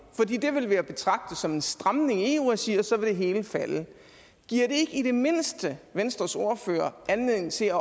fordi det vil være at betragte som en stramning i eu regi og så vil det hele falde giver det i det mindste venstres ordfører anledning til at